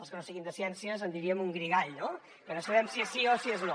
els que no siguin de ciències en diríem un guirigall que no sabem si és sí o si és no